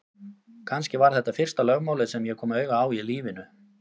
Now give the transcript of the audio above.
Kannski var þetta fyrsta lögmálið sem ég kom auga á í lífinu.